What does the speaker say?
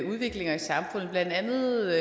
udviklinger i samfundet blandt andet